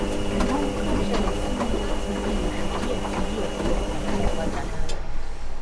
ṣùgbọ́n ohun tó ń ṣẹlẹ̀ sí mi láti bíi oṣù díẹ̀ ti yí ọ̀pọ̀lọpọ̀ nǹkan padà lára mi